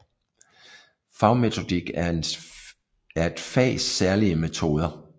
Fagmetodik er et fags særlige metoder